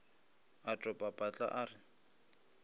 a topa patla a re